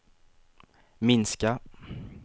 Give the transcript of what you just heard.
minska